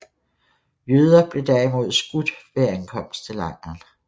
Jøder blev derimod skudt ved ankomst til lejren